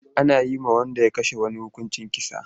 Ana yi wa wanda ya kashe wani hukuncin kisa.